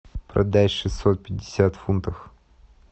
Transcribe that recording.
продать шестьсот пятьдесят фунтов